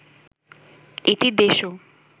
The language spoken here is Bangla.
এটি দেশ ও